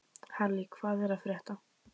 Halley, hvað er að frétta?